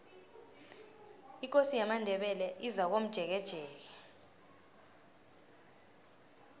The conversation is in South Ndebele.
ikosi yamandebele izakomjekejeke